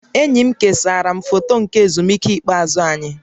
Enyi m kesara m foto nke ezumike ikpeazụ anyị